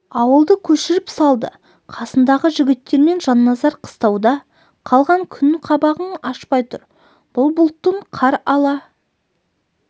ауылды көшіріп салды қасындағы жігіттерімен жанназар қыстауда қалған күн қабағын ашпай тұр бұл бұлттың қар ала